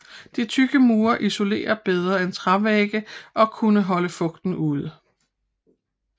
De tykke mure isolerede bedre end trævægge og kunne holde fugten ude